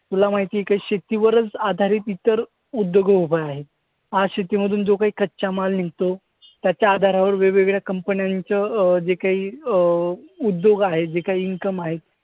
तुला माहिती आहे काय शेतीवरच आधारित इतर उद्योग उभा आहेत. आज शेतीमधून जो काही कच्चा माल निघतो त्याच्या आधारावर वेगवेगळ्या कंपन्यांचं अं जे काही अं उद्योग आहेत, जे काही income आहेत.